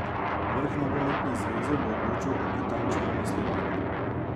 Vrh nogometne zveze bo odločil o Katančevem nasledniku.